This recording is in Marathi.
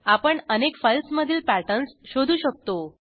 आपण अनेक फाईल्समधील पॅटर्न्स शोधू शकतो